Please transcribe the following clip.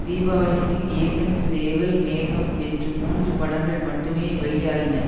தீபாவளிக்கு ஏகன் சேவல் மேகம் என்று மூன்று படங்கள் மட்டுமே வெளியாயின